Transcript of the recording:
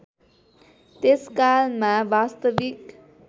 त्यस कालमा वास्तविक